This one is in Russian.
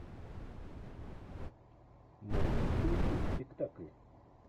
можешь включить спектакль